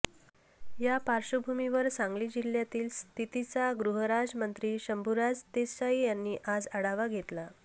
या पार्श्वभूमीवर सांगली जिल्ह्यातील स्थितीचा गृहराज्यमंत्री शंभूराज देसाई यांनी आज आढावा घेतला